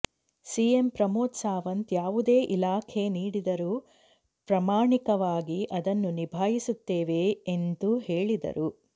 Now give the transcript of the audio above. CM Pramod Sawant ಯಾವುದೇ ಇಲಾಖೆ ನೀಡಿದರು ಪ್ರಾಮಾಣಿಕವಾಗಿ ಅದನ್ನು ನಿಭಾಯಿಸುತ್ತೇವೆ ಎಂಜು ಹೇಳಿದ್ದಾರೆ